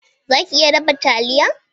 Za ki iya dafa taliya?